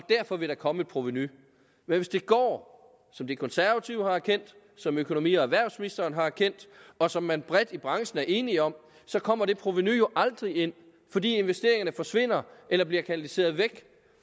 derfor vil komme et provenu men hvis det går som de konservative har erkendt som økonomi og erhvervsministeren har erkendt og som man bredt i branchen er enige om så kommer det provenu jo aldrig ind fordi investeringerne forsvinder eller bliver kanaliseret væk